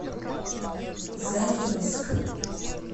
заринск